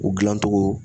U dilan cogo